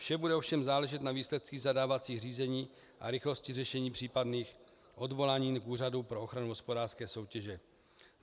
Vše bude ovšem záležet na výsledcích zadávacích řízení a rychlosti řešení případných odvolání k Úřadu pro ochranu hospodářské soutěže.